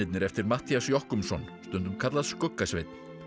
eftir Matthías Jochumsson stundum kallað skugga Sveinn